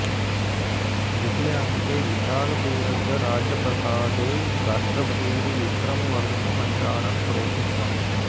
द्वितीयेऽङके विशालपुरस्य राज्यप्रासादे राष्ट्रपतिः विक्रमवर्धनो मन्त्रणां करोति स्म